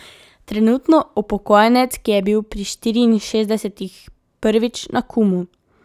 Trenutno upokojenec, ki je bil pri štiriinšestdesetih prvič na Kumu.